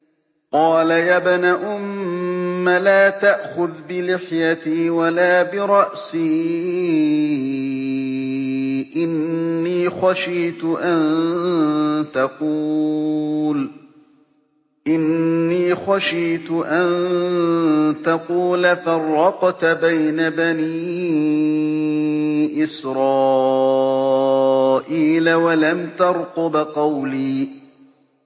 قَالَ يَا ابْنَ أُمَّ لَا تَأْخُذْ بِلِحْيَتِي وَلَا بِرَأْسِي ۖ إِنِّي خَشِيتُ أَن تَقُولَ فَرَّقْتَ بَيْنَ بَنِي إِسْرَائِيلَ وَلَمْ تَرْقُبْ قَوْلِي